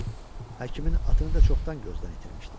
Həkimin atını da çoxdan gözdən itirmişdi.